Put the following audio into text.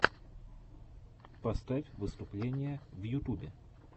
поставь выступления в ютюбе